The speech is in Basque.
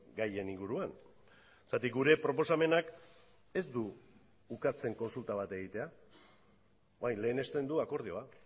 gaien inguruan zergatik gure proposamenak ez du ukatzen kontsulta bat egitea orain lehenesten du akordioa